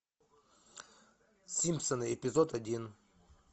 симпсоны эпизод один